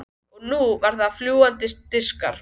Og nú eru það fljúgandi diskar.